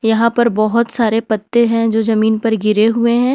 यहां पर बहुत सारे पत्ते हैं जो जमीन पर गिरे हुए हैं।